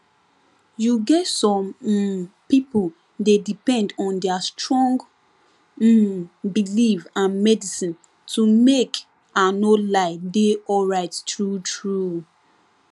you get some um people dey depend on their strong um belief and medicine to make i no lie dey alright truetrue